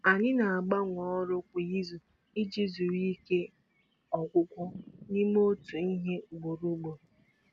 Anyị na-agbanwe ọrụ kwa izu iji zere ike ọgwụgwụ n'ịme otu ihe ugboro ugboro.